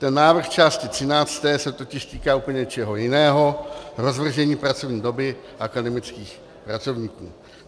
Ten návrh části 13. se totiž týká úplně něčeho jiného - rozvržení pracovní doby akademických pracovníků.